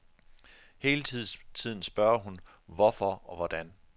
Hele tiden spørger hun hvorfor og hvordan.